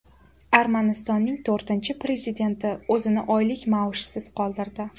Armanistonning to‘rtinchi prezidenti o‘zini oylik maoshsiz qoldirdi.